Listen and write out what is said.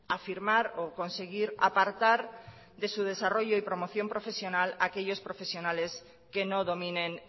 a firmar o conseguir apartar de su desarrollo y promoción profesional a aquellos profesionales que no dominen